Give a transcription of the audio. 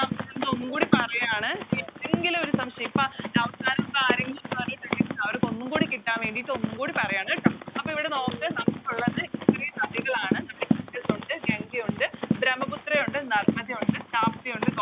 ഞാനിതൊന്നും കൂടി പറയാണ് ഏതെങ്കിലു ഒരു സംശയം ഇപ്പോം അവസാനിപ്പോ ആരെങ്കിലും പറഞ്ഞിട്ടുണ്ടെങ്കില് അവരിക്കൊന്നും കൂടി കിട്ടാൻ വേണ്ടിട്ട് ഒന്നും കൂടി പറയാണ് ട്ടോ അപ്പൊ ഇവിടെ നോക്ക് നമുക്കുള്ളത് ഇത്രേം നദികളാണ് നമ്മളെ ഇൻഡസ് ഒണ്ട് ഗംഗ ഒണ്ട് ബ്രഹ്മപുത്ര ഒണ്ട് നർമ്മദ ഒണ്ട് തപ്തി ഒണ്ട്